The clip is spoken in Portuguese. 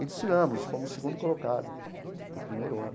E desfilamos, fomos o segundo colocado do primeiro ano.